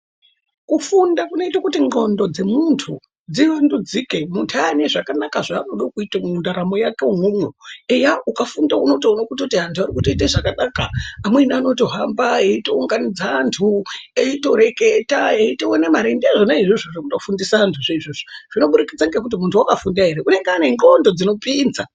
Kufunda kunoita kuti hlondo dzemuntu aanenguws yakanaka yekuita zvaanoda kuita mundaramo yake imwomwo eya ukafunda unotoona kuti vantu vanoita zvakanaka amweni anotohamba eitounganidza antueitoreketa eitoona mare ndizvona izvozvo zvekuto fundisa antu zvinobudikidza ngekuti muntu wakafunda ere unenge anemdxndo dzinopinza.